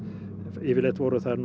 yfirleitt voru þær